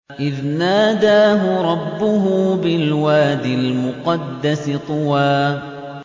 إِذْ نَادَاهُ رَبُّهُ بِالْوَادِ الْمُقَدَّسِ طُوًى